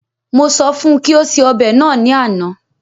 Mo sọ fún kí ó ṣe ọbẹ náà ní àna